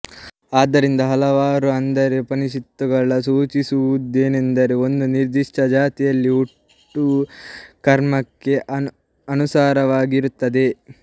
ಆದ್ದರಿಂದ ಹಲವಾರು ಅಂದರೆ ಉಪನಿಷತ್ತುಗಳು ಸೂಚಿಸುವುದೇನೆಂದರೆ ಒಂದು ನಿರ್ದಿಷ್ಟ ಜಾತಿಯಲ್ಲಿನ ಹುಟ್ಟು ಕರ್ಮಕ್ಕೆ ಅನುಸಾರವಾಗಿ ಇರುತ್ತದೆ